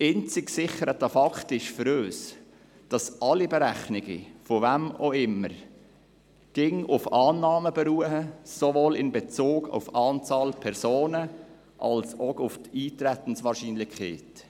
Einzig gesicherter Fakt ist für uns, dass alle Berechnungen, von wem auch immer, jeweils auf Annahmen beruhen, sowohl in Bezug auf die Anzahl Personen als auch in Bezug auf die Eintretenswahrscheinlichkeit.